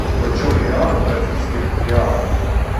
почем реал в бразильских реалах